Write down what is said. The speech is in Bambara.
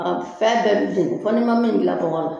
Fɛn bɛɛ bɛ jɛni fo ni ma min dilan bɔgɔ la.